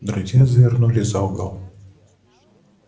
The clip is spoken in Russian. друзья завернули за угол